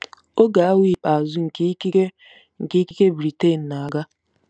Oge awa ikpeazụ nke ikike nke ikike Britain na-aga.